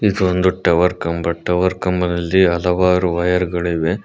ಇದೊಂದು ಟವರ್ ಕಂಬ ಟವರ್ ಕಂಬದಲ್ಲಿ ಹಲವಾರು ವೈರ್ ಗಳು ಇವೆ.